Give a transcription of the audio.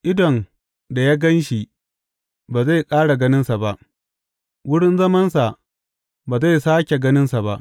Idon da ya gan shi ba zai ƙara ganinsa ba; wurin zamansa ba zai sāke ganinsa ba.